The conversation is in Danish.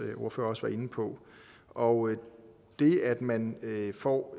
ordfører også var inde på og det at man får